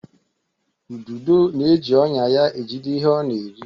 Ududo na-eji ọnya ya ejide ihe ọ na-eri.